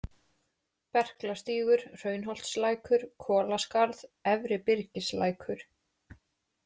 Berklastígur, Hraunsholtslækur, Kolaskarð, Efri-Byrgislækur